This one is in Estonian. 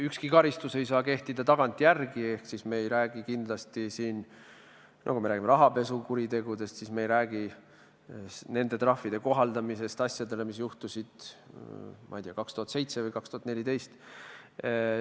Ükski karistus ei saa kehtida tagantjärele ehk me ei räägi siin kindlasti rahapesukuritegudest, me ei räägi nende trahvide kohaldamisest asjadele, mis juhtusid, ma ei tea, 2007 või 2014.